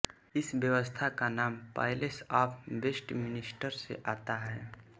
इस व्यवस्था का नाम पैलेस ऑफ़ वेस्टमिन्स्टर से आता है